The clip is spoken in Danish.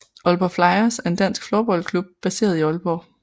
Aalborg Flyers er en dansk floorballklub baseret i Aalborg